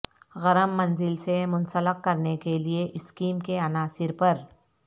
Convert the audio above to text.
گرم منزل سے منسلک کرنے کے لئے اسکیم کے عناصر پر